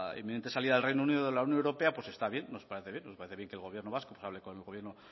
inminente salida del reino unido de la unión europea pues está bien nos parece bien que el gobierno vasco hable con el gobierno